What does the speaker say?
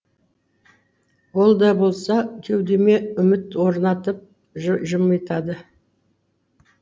ол да болса кеудеме үміт оралтып жымитады